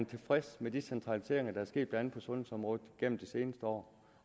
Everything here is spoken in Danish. tilfredshed med de centraliseringer der er sket blandt andet på sundhedsområdet gennem det seneste år